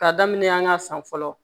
K'a daminɛ an ka san fɔlɔ